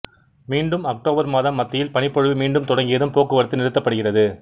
மீண்டும் அக்டோபர் மாதம் மத்தியில் பனிப்பொழிவு மீண்டும் தொடங்கியதும் போக்குவரத்து நிறுத்தப்படுகிறது